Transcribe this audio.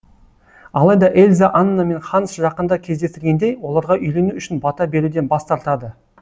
алайда эльза анна мен ханс жақында кездестіргендей оларға үйлену үшін бата беруден бас тартады